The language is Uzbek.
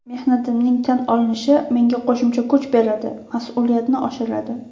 Mehnatimning tan olinishi menga qo‘shimcha kuch beradi, mas’uliyatni oshiradi.